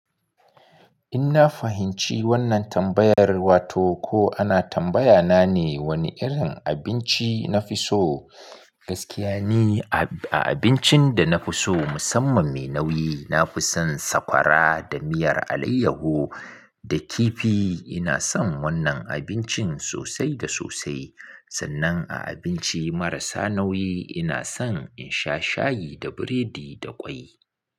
In na fahimci wannan tambayar, wato ko ana tambaya na ne wane irin abinci na fi so. Gaskiya ni, a abincin da na fi so musamman mai nauyi, na fi son sakwara da miyar alayyaho da kifi. Ina son wannan abincin sosai da sosai. Sannan a abinci marasa nauyi ina son in sha shayi da biredi da ƙwai.